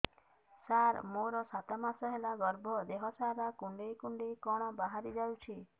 ସାର ମୋର ସାତ ମାସ ହେଲା ଗର୍ଭ ଦେହ ସାରା କୁଂଡେଇ କୁଂଡେଇ କଣ ବାହାରି ଯାଉଛି